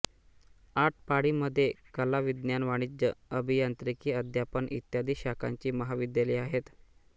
आटपाडीमधे कला विज्ञान वाणिज्य अभियांत्रिकी अध्यापन इत्यादी शाखांची महाविद्यालये आहेत